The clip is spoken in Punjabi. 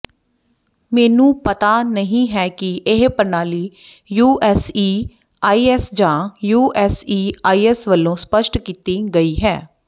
ਮੈਨੂੰ ਪਤਾ ਨਹੀਂ ਹੈ ਕਿ ਇਹ ਪ੍ਰਣਾਲੀ ਯੂਐਸਸੀਆਈਐਸ ਜਾਂ ਯੂਐਸਸੀਆਈਐਸ ਵੱਲੋਂ ਸਪਸ਼ਟ ਕੀਤੀ ਗਈ ਹੈ